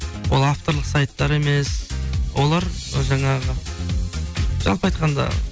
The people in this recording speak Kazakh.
ол авторлық сайттар емес олар жаңағы жалпы айтқанда